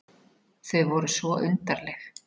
Þau voru svo undarleg.